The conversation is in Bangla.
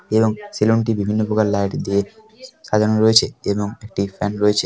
এবং সেলুনটি বিভিন্ন প্রকার লাইট দিয়ে সাজানো রয়েছে এবং একটি ফ্যান রয়েছে।